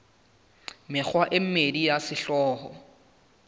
mekgwa e mmedi ya sehlooho